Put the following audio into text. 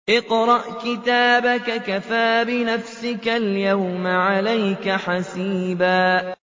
اقْرَأْ كِتَابَكَ كَفَىٰ بِنَفْسِكَ الْيَوْمَ عَلَيْكَ حَسِيبًا